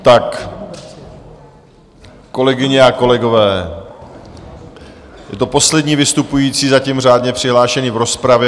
Tak kolegyně a kolegové, je to poslední vystupující zatím řádně přihlášený v rozpravě.